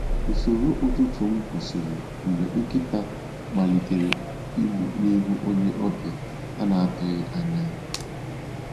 Usoro ụtụtụ m kwụsịrị mgbe nkịta malitere igbọ n’ihu onye ọbịa a na-atụghị anya ya.